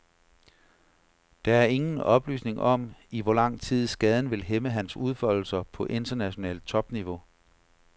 Der er ingen oplysning om, i hvor lang tid skaden vil hæmme hans udfoldelser på internationalt topniveau.